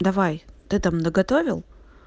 давай ты там наготовил